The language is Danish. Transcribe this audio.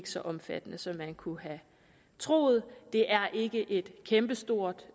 så omfattende som man kunne have troet det er ikke et kæmpestort